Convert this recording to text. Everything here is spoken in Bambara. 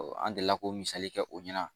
an delila k'o misali kɛ o ɲɛna